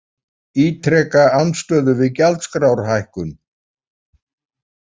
Ítreka andstöðu við gjaldskrárhækkun